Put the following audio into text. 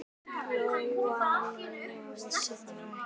Lóa-Lóa vissi það ekki.